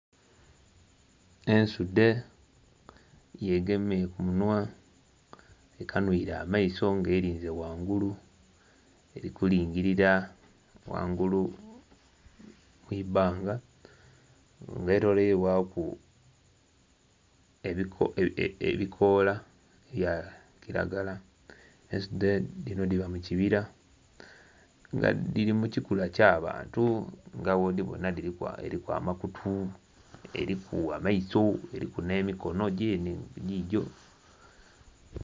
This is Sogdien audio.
Ensudhe yegemye ku munhwa ekanhwire amaiso nga elinze ghangulu, eri kulingilira ghangulu ku ibbanga nga eloleirwaku ebikoola bya kiragala. Ensudhe dhinho dhiba mu kibira nga dhiri mukikula ky'abantu nga bwodhibona eliku amakutu, eliku amaiso, eliku n'emikono gyenhe gigyo.